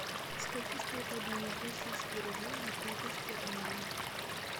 сколько стоит обменять российские рубли на фунты стерлинги